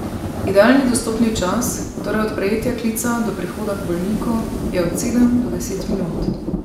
Idealni dostopni čas, torej od prejetja klica do prihoda k bolniku, je od sedem do deset minut.